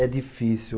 É difícil.